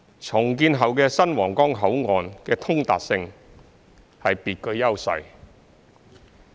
重建後的新皇崗口岸的通達性是別具優勢的。